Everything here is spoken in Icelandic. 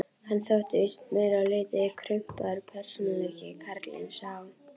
Hann þótti víst meir en lítið krumpaður persónuleiki, karlinn sá.